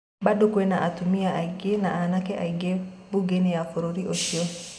Bado kwina atumia aingi na anake aingi buge-ini ya bũrũrĩ ũcio.